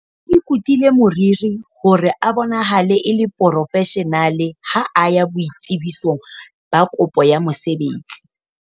o ikutile moriri hore a bonahale a le porofeshenale ha a ya boitsebisong ba kopo ya mosebetsi